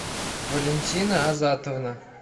валентина азатовна